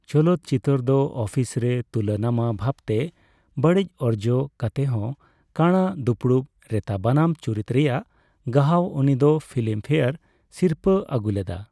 ᱪᱚᱞᱚᱛ ᱪᱤᱛᱟᱹᱨ ᱫᱚ ᱚᱯᱷᱤᱥ ᱨᱮ ᱛᱩᱞᱟᱱᱟᱢᱟ ᱵᱷᱟᱵᱛᱮ ᱵᱟᱹᱲᱤᱡ ᱚᱨᱡᱚ ᱠᱟᱛᱮᱦᱚᱸ, ᱠᱟᱬᱟ ᱫᱩᱯᱲᱩᱯ ᱨᱮᱛᱟᱵᱟᱱᱟᱢ ᱪᱩᱨᱤᱛ ᱨᱮᱭᱟᱜ ᱜᱟᱦᱟᱣ ᱩᱱᱤ ᱫᱚ ᱯᱷᱤᱞᱤᱢ ᱯᱷᱮᱭᱟᱨ ᱥᱤᱨᱯᱟᱹᱭ ᱟᱜᱩ ᱞᱮᱫᱟ ᱾